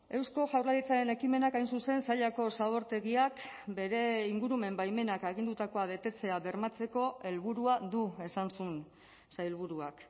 eusko jaurlaritzaren ekimenak hain zuzen sailako zabortegiak bere ingurumen baimenak agindutakoa betetzea bermatzeko helburua du esan zuen sailburuak